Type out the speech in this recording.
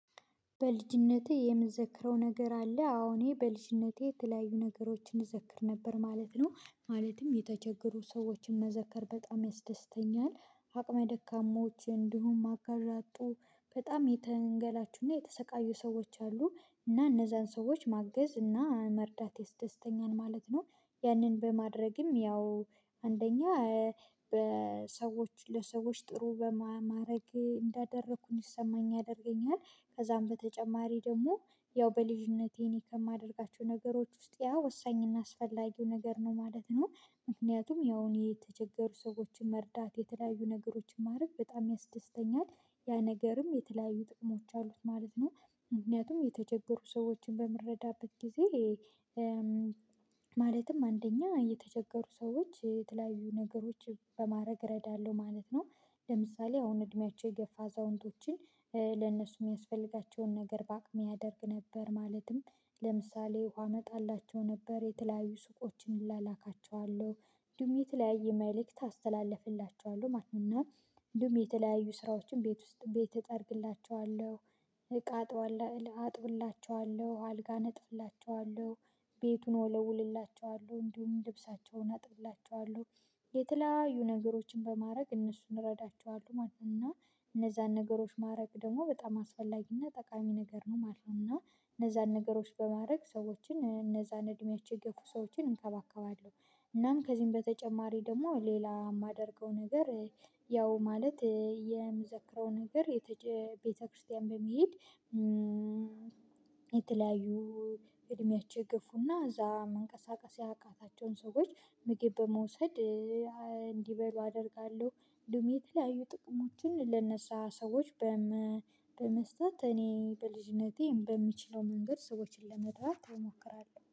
በልጅነቴ የምዘክረው ነገር አለ አዎ እኔ በልጅነቴ የተለያዩ ነገሮችን እዘክር ነበር ማለት ነው ማለትም የተቸገሩ ሰዎችን መዘከር በጣም ያስደስተኛል። አቅመ ደካማዎች እንዲሁም አጋዥያጡ በጣም የተንገላቹና የተሰቃዩ ሰዎች አሉ እና እነዛን ሰዎች ማገዝ እና መርዳት ያስደተኛል ማለት ነው። ያንን በማድረግም ያው አንደኛ በሰዎች ለሰዎች ጥሩ በማድረግ እንዳደረኩኝ ይሰማኝ ያደርገኛል። ከዛም በተጨማሪ ደግሞ ያው በልጅነቴ እኔ ከማደርጋቸው ነገሮች ውስጥ ያ ወሳኝና አስፈላጊው ነገር ነው ማለት ነው። ምክንያቱም ያውን የተቸገሩ ሰዎችን መርዳት የተለያዩ ነገሮችን ማድረግ በጣም ያስደስተኛል። ያ ነገርም የተለያዩ ጥቅሞች አሉት ማለት ነው። ምክንያቱም የተቸገሩ ሰዎችን በምንረዳበት ጊዜ ማለትም አንደኛ የተቸገሩ ሰዎች የተለያዩ ነገሮች በማድረግ እረዳለሁ ማለት ነው። ለምሳሌ አሁን እድሜያቸው የገፋ አዛውንቶችን ለእነሱ የሚያስፈልጋቸውን ነገር በአቅሜ አደርግ ነበር ማለትም ለምሳሌ ውሃ አመጣላቸው ነበር የተለያዩ ሱቆችን እላላካቸዋለሁ። እንዲሁም የተለያየ መልእክት አስተላልፍላቸዋለሁ ማለት ነው እና እንዲሁም የተለያየ ስራዎችን ቤት ውስጥ ቤት እጠርግላቸዋለሁ። እቃጠዋለሁ አጥብላቸዋለሁ አልጋ አነጥፍላቸዋለሁ ቤቱን እወለውልላቸዋለሁ እንዲሁም ልብሳቸውን አጥብላቸዋለሁ። የተለያዩ ነገሮችን በማድረግ እነሱን እንረዳቸዋለን ማለት ነው እና እነዛን ነገሮች ማድረግ ደግሞ በጣም አስፈላጊና ጠቃሚ ነገር ነው ማለት ነው። እና እነዛን ነገሮች በማድረግ ሰዎችን እነዛን እድሜያቸው የገፉ ሰዎችን እንከባከባለሁ። እናም ከዚህም በተጨማሪ ደግሞ ሌላ የማደርገው ነገር ያው ማለት የምዘክረው ነገር የተጨ ቤተክርስቲያን በመሄድ የተለያዩ እድሜያቸው የገፉና እዛ መንቀሳቀስ ያቃታቸውን ሰዎች ምግብ በመውሰድ እንዲበሉ አደርጋለሁ። እንዲሁም የተለያዩ ጥቅሞችን ለነሳ ሰዎች በመስጠት እኔ በልጅነቴ በምችለው መንገድ ሰዎችን ለመድራት እሞክራለሁ